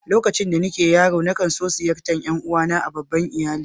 Lokacin da nake yaro, na kan tson ziyartar ’yan uwa na a' babban iyalli.